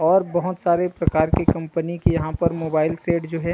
और बहोत सारे प्रकार के कम्पनी के यहाँ पर मोबाइल सेट जो हे।